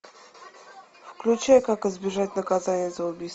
включай как избежать наказания за убийство